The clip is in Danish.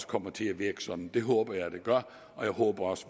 kommer til at virke sådan det håber jeg at det gør og jeg håber også